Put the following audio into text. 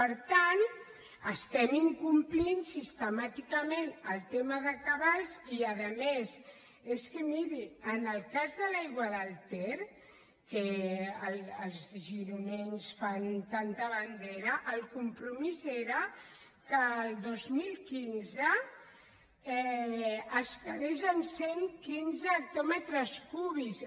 per tant estem incomplint sistemàticament el tema de cabals i a més és que miri en el cas de l’aigua del ter que els gironins en fan tanta bandera el compromís era que el dos mil quinze es quedés en cent i quinze hectòmetres cúbics